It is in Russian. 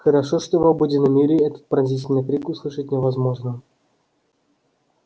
хорошо что в обыденном мире этот пронзительный крик услышать невозможно